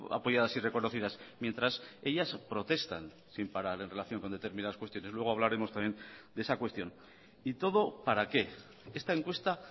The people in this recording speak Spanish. apoyadas y reconocidas mientras ellas protestan sin parar en relación con determinadas cuestiones luego hablaremos también de esa cuestión y todo para qué esta encuesta